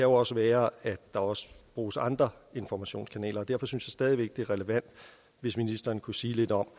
også være at der også bruges andre informationskanaler og derfor synes jeg stadig væk det er relevant hvis ministeren kunne sige lidt om